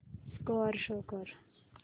score show कर